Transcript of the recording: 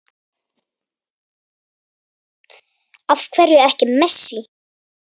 Af hverju ekki Messi?